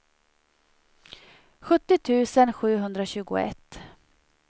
sjuttio tusen sjuhundratjugoett